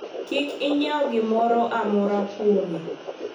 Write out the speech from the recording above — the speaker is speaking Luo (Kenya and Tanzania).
kik inyiew gimoro amora kuome